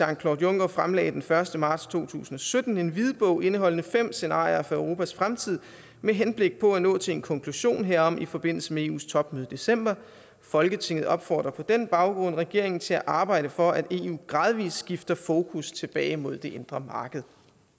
claude juncker fremlagde den første marts to tusind og sytten en hvidbog indeholdende fem scenarier for europas fremtid med henblik på at nå til en konklusion herom i forbindelse med eus topmøde i december folketinget opfordrer på den baggrund regeringen til at arbejde for at eu gradvis skifter fokus tilbage mod det indre marked